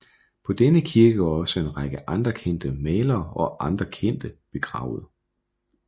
På denne kirkegård er også en række andre kendte malere og andre kendte begravet